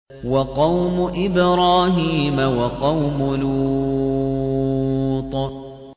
وَقَوْمُ إِبْرَاهِيمَ وَقَوْمُ لُوطٍ